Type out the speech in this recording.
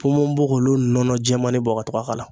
Ponponpogolon nɔnɔ jɛɛmani bɔ ka to ka k'a la